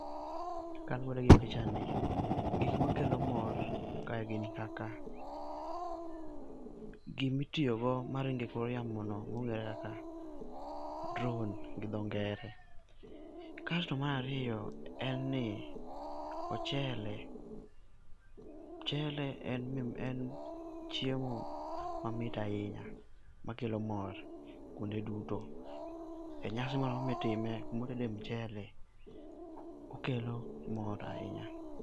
Kaluore gi pichani gik ma kelo mor ka gin kaka, gi mitoyo go ma ringo e kor yamo no ma ong'ere kaka drone gi dho ngere. Kasto mar ariyo, en ni ochele, mchele en chiemo ma mit ahinya makelo mor kuonde duto e nyasi moro amora mi itime ku ma oted mchele okelo mor ahinya.